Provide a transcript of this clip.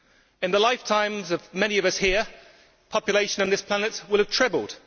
In the lifetimes of many of us here, population on this planet will have trebled.